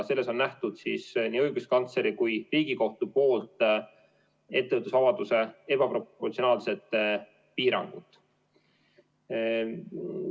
Selles on näinud ettevõtlusvabaduse ebaproportsionaalset piirangut nii õiguskantsler kui ka Riigikohus.